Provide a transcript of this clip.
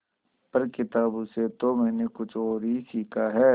पर किताबों से तो मैंने कुछ और ही सीखा है